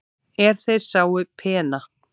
er þeir sáu pena